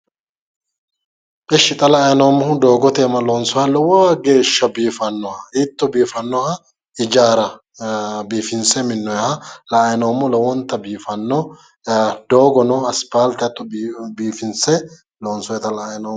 Eshshi xa la'ayi noommohu doogote iima loonsoonniha lowo geehsha biifannoha hiitto biifannoha ijaara biifinse minnoonniha la'anni noommo yaate doogono aspaalte hatto biifinse loonsoyita la'ayi noommo.